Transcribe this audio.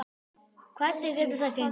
Hvernig getur það gengi?